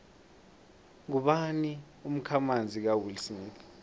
ngubani umkhamanzi kawillsmith